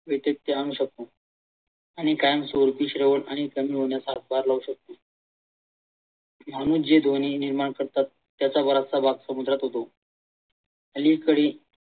येथे ते आणू शकतात आणि कायम स्वरूपी श्रेय आणि कमी होण्यास हातभार लावू शकतात म्हणून जे ध्वनी निर्माण करतात त्याचा बराचसा भाग समुद्रात येतो अलीकडे